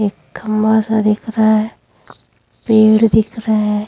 एक खम्बा सा दिख रहा हैं पेड़ दिख रहे हैं।